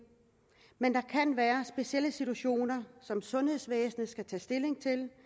men der kan være specielle situationer som sundhedsvæsenet skal tage stilling